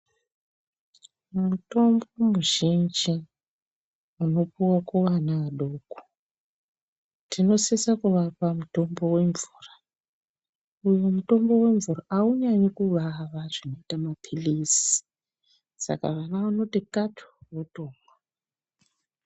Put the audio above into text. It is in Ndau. Mutombo muzhinji, unopuwa kuana adoko, tinosisa kuapa mutombo wemvura, uwo mutombo wemvura aunyanyi kuvava, zvinoita maphilizi, saka vana vanoti, katu, votomwa.